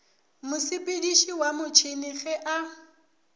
mosepediši wa motšhene ge a